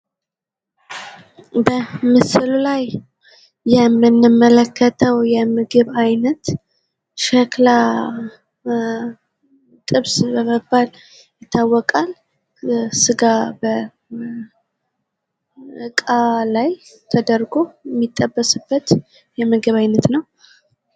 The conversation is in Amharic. በምስሉ ላይ የምንመለከተው የምግብ አይነት ሸክላ ጥብስ በመባል ይታወቃል ። ስጋ በእቃ ላይ ተደርጎ የሚጠበስበት የምግብ አይነት ነው ።